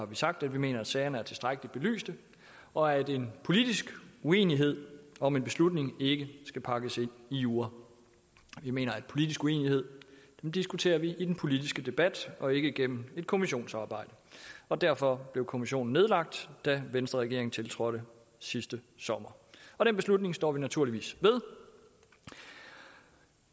vi sagt at vi mener at sagerne er tilstrækkelig belyst og at en politisk uenighed om en beslutning ikke skal pakkes ind i jura vi mener at politisk uenighed diskuterer vi i den politiske debat og ikke gennem et kommissionsarbejde og derfor blev kommissionen nedlagt da venstreregeringen tiltrådte sidste sommer den beslutning står vi naturligvis ved